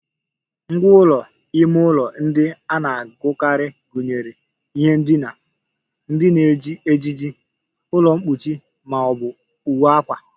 Ngwá ụlọ ime ụlọ ndị a na-ahụkarị gụnyere ihe ndina, ndị na-eji ejiji, ụlọ mkpuchi ma ọ bụ uwe akwa